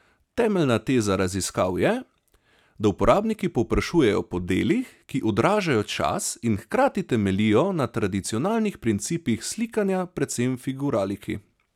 Temeljna teza raziskav je, da uporabniki povprašujejo po delih, ki odražajo čas in hkrati temeljijo na tradicionalnih principih slikanja, predvsem figuraliki.